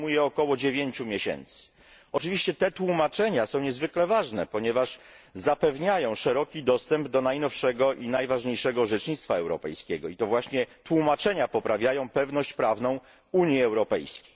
To zajmuje około 9 miesięcy. Oczywiście te tłumaczenia są niezwykle ważne, ponieważ zapewniają szeroki dostęp do najnowszego i najważniejszego orzecznictwa europejskiego i to właśnie tłumaczenia poprawiają pewność prawną Unii Europejskiej.